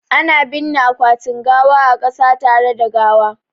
Ana binne akwatin gawa a kasa tare da gawa